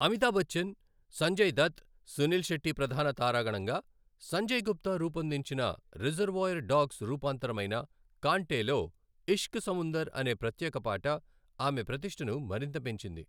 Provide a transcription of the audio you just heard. అమితాబ్ బచ్చన్, సంజయ్ దత్, సునీల్ శెట్టి ప్రధాన తారాగణంగా, సంజయ్ గుప్తా రూపొందించిన 'రిజర్వాయర్ డాగ్స్' రూపాంతరమైన కాంటేలో 'ఇష్క్ సముందర్' అనే ప్రత్యేక పాట ఆమె ప్రతిష్టను మరింత పెంచింది.